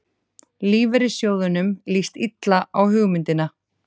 Lífeyrissjóðunum líst illa á hugmyndina